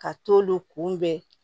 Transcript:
Ka t'olu kunbɛn